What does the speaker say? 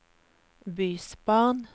bysbarn